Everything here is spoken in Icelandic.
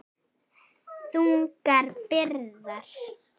Þungar byrðar.